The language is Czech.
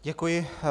Děkuji.